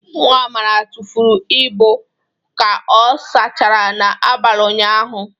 Nwa Amara tụfuru ibu ka ọ sachara n'abalị ụnyaahụ.